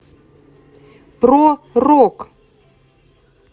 про рок